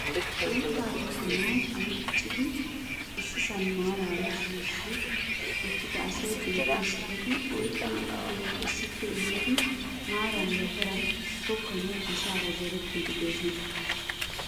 Uuttaa tokkanaayo anccidi issisan maaraara shiishshi uttida asay beetees. Eti oyqqi uttidoogaa issippe efiidi maaran yafaran tokkanawu asaara zorettiidi doosona.